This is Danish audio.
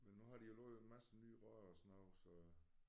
Men nu har de jo lovet en masse nye rør og sådan noget så